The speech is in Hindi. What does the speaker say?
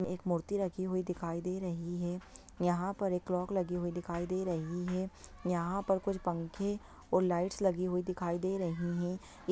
एक मूर्ति रखी हुई दिखाई दे रही है| यहां पर एक क्लॉक लगी हुई दिखाई दे रही है| यहां पर कुछ पंखे और लाइटस लगी हुई दिखाई दे रही हैं| ये--